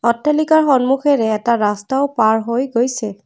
অট্টালিকাৰ সন্মুখেৰে এটা ৰাস্তাও পাৰ হৈ গৈছে।